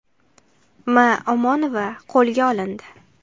M. Omonova qo‘lga olindi.